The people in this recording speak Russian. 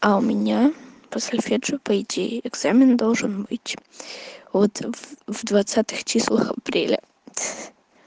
а у меня по сольфеджио по идее экзамен должен быть вот в двадцатых числах апреля ха-ха